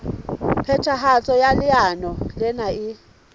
phethahatso ya leano lena e